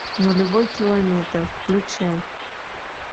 нулевой километр включай